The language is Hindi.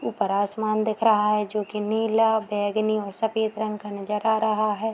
ऊपर आसमान दिख रहा है जो की नीला बैगनी और सफ़ेद रंग का नजर आ रहा है।